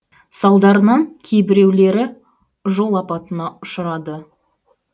салдарынан кейбіреулері жол апатына ұшырады